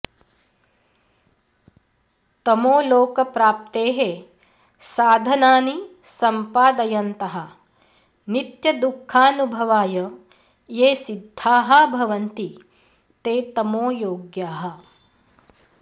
तमोलोकप्राप्तेः साधनानि सम्पादयन्तः नित्यदुःखानुभवाय ये सिद्धाः भवन्ति ते तमोयोग्याः